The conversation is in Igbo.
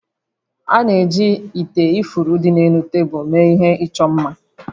A na-eji ite ifuru dị n'elu tebulu mee ihe ịchọ mma